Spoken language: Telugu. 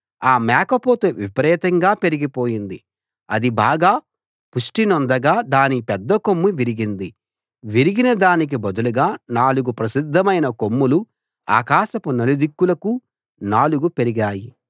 ఆ మేకపోతు విపరీతంగా పెరిగి పోయింది అది బాగా పుష్టినొందగా దాని పెద్దకొమ్ము విరిగింది విరిగిన దానికి బదులుగా నాలుగు ప్రసిద్ధమైన కొమ్ములు ఆకాశపు నలుదిక్కులకు నాలుగు పెరిగాయి